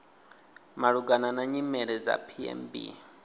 malugana na nyimele dza pmb